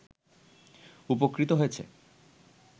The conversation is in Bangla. উপকৃত হয়েছে